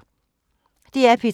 DR P3